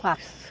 Quatro?